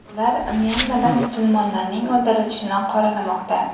Ular Myanmada musulmonlarning o‘ldirilishini qoralamoqda.